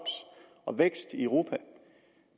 og vækst i europa